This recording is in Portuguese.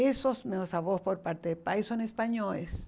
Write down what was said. Esses meus avós, por parte de pai, são espanhóis.